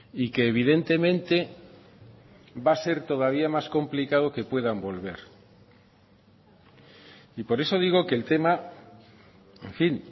y que evidentemente va a ser todavía más complicado que puedan volver y por eso digo que el tema en fin